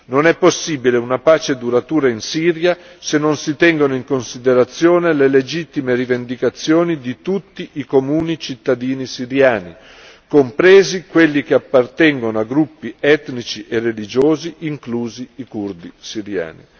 Non è possibile una pace duratura in Siria se non si tengono in considerazione le legittime rivendicazioni di tutti i comuni cittadini siriani, compresi quelli che appartengono a gruppi etnici e religiosi inclusi i curdi siriani.